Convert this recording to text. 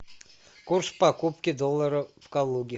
курс покупки доллара в калуге